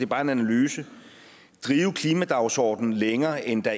bare en analyse klimadagsordenen længere end der